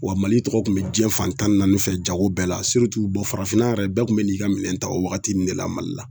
Wa mali tɔgɔ tun bɛ diɲɛ fantan naani fɛ jago bɛɛ la bɔ farafinna yɛrɛ bɛɛ kun bɛ n'i ka minɛn ta o wagati nin de la mali la.